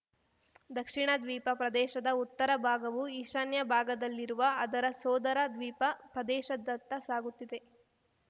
ದಕ್ಷಿಣ ದ್ವೀಪ ಪ್ರದೇಶದ ಉತ್ತರ ಭಾಗವು ಈಶಾನ್ಯ ಭಾಗದಲ್ಲಿರುವ ಅದರ ಸೋದರ ದ್ವೀಪ ಪ್ರದೇಶದತ್ತ ಸಾಗುತ್ತಿದೆ